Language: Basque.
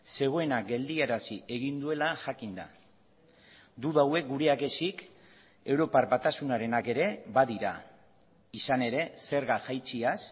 zegoena geldiarazi egin duela jakinda duda hauek gureak ezik europar batasunarenak ere badira izan ere zerga jaitsiaz